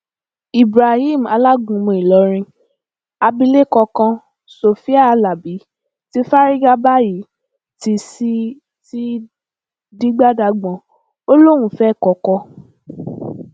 ibrahim alágúnmu ìlọrin abilékọ kan sofia alábi ti fárígá báyìí t sì ti dìgbà dagbọn ó lóun fẹ kọkọ